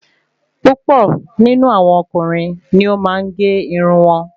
púpọ̀ nínú àwọn ọkùnrin ni o maa n gé irun wọn